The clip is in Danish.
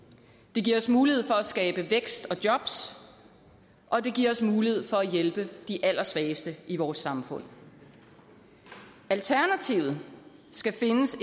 det giver os mulighed for at skabe vækst og jobs og det giver os mulighed for at hjælpe de allersvageste i vores samfund alternativet skal findes